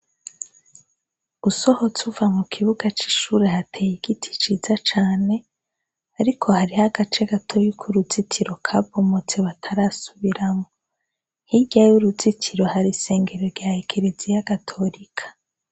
Usohotse uva mu kibuga c'ishure hateye igiti ciza cane, ariko hariho agace gatoyi kuruzitiro kabomotse batarasubiramwo. Hirya y'uruzitiro hari isengero rya ekereziya gatorika.